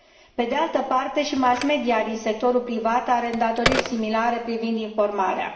Pe de altă parte, și mass media din sectorul privat are îndatoriri similare privind informarea.